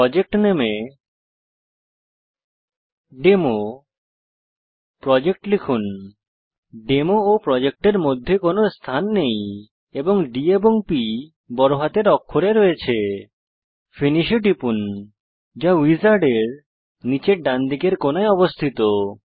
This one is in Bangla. প্রজেক্ট নামে এ ডেমোপ্রোজেক্ট লিখুন ডেমো ও প্রজেক্ট এর মধ্যে কোনো স্থান নেই এবং ডি এবং প বড় হাতের অক্ষরে রয়েছে ফিনিশ এ টিপুন যা উইজার্ডের নীচের ডানদিকের কোনায় অবস্থিত